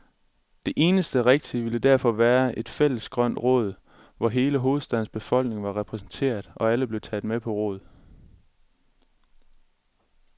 Det eneste rigtige ville derfor være et fælles grønt råd, hvor hele hovedstadens befolkning var repræsenteret, og alle blev taget med på råd.